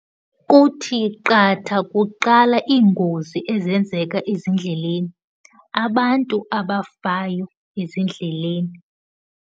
Kuthi qatha kuqala iingozi ezenzeka ezindleleni, abantu abafayo ezindleleni.